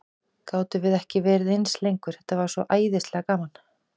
Gátum við ekki verið aðeins lengur, þetta var svo æðislega gaman?